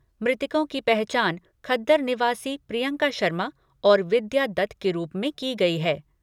मृतकों की पहचान खद्दर निवासी प्रियंका शर्मा और विद्या दत्त के रूप में की गई है।